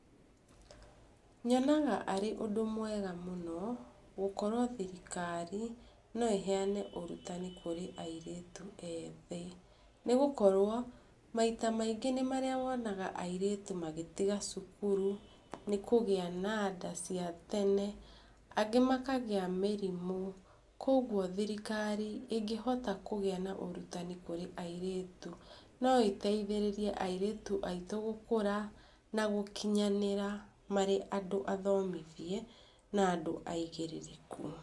Nyonaga ũrĩ ũndũ mwega mũno, gũkorwo thirikari no ĩheana ũrutani kũrĩ airĩtu ethĩ, nĩ gũkorwo, maita maingĩ nĩ marĩa wonaga airĩtu magĩtiga cukuru nĩ kũgĩa na nda cia tene. Angĩ makagĩa na mĩrimũ. Koguo thirikari ĩngĩhota kũgĩa na ũrutani kũrĩa airĩtu no ĩteithĩrĩria airĩtu aitũ gũkũra, na gũkinyanĩra marĩ andũ athomithie na andũ aigĩrĩrĩku.